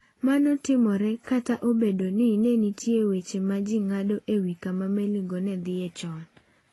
Mano timore kata obedo ni nitie weche ma ji ng’ado e wi kama meligo ne dhie chon.